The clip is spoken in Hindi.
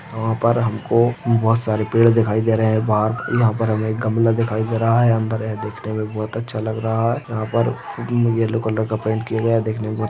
यहाँ पर हमको बहोत सारे पेड़ दिखाई दे रहे है बाहर यहाँ पर हमे एक गमला दिखाई दे रहा है अन्दर यह देखने मे बहोत अच्छा लग रहा है यहाँ पर येल्लो कलर का पैंट किया हुआ दिखने मे--